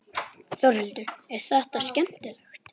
Þórhildur: Er þetta skemmtilegt?